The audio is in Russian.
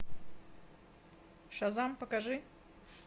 шазам покажи